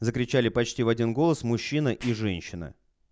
закричали почти в один голос мужчина и женщина